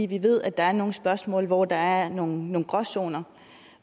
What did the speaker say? vi ved at der er nogle spørgsmål hvor der er nogle gråzoner og